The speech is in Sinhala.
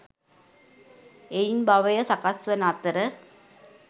එයින් භවය සකස් වන අතර